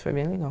Foi bem legal.